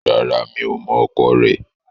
Rárá, n kò mọ̀ ọkọ rẹ̀